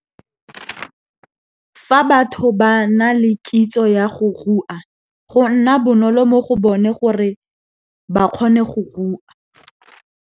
Fa batho ba na le kitso ya go rua, go nna bonolo mo go bone gore ba kgone go rua.